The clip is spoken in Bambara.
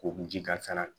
Ko ji kasara